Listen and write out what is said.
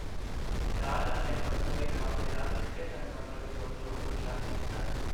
ਸ਼ਾਹਜਹਾਂ ਨੇ ਪੱਥਰ ਦੇ ਕੰਮ ਦੇ ਨਾਲ ਚਿੱਟੇ ਸੰਗਮਰਮਰ ਦੀ ਵਰਤੋਂ ਨੂੰ ਉਤਸ਼ਾਹਿਤ ਕੀਤਾ।